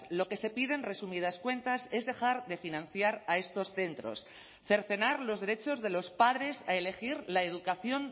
lo que se pide en resumidas cuentas es dejar de financiar a estos centros cercenar los derechos de los padres a elegir la educación